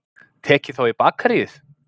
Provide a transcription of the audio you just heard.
Tekið þá í bakaríið.